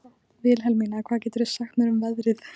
Vilhelmína, hvað geturðu sagt mér um veðrið?